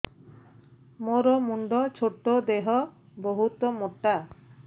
ମୋର ମୁଣ୍ଡ ଛୋଟ ଦେହ ବହୁତ ମୋଟା